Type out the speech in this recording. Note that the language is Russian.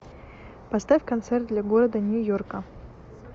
поставь концерт для города нью йорка